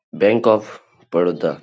Bank of Baroda.